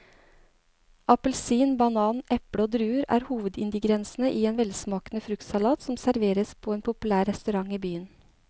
Appelsin, banan, eple og druer er hovedingredienser i en velsmakende fruktsalat som serveres på en populær restaurant i byen.